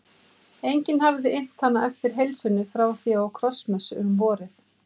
Enginn hafði innt hana eftir heilsunni frá því á krossmessu um vorið.